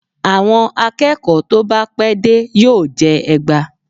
àwọn akeeko tọ bá pẹ dé, yọọ jẹ egbá